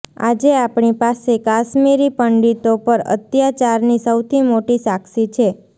આજે આપણી પાસે કાશ્મીરી પંડિતો પર અત્યાચારની સૌથી મોટી સાક્ષી છે